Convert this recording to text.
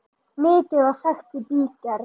Mikið var sagt í bígerð.